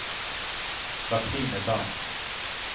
Katrine Berntzen